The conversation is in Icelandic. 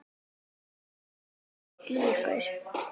Eruð þið lík í ykkur?